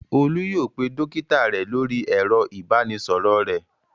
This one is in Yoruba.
Olú yóò pe dọ́kítá rẹ̀ lórí ẹ̀rọ-ìbánisọ̀rọ̀ rẹ̀.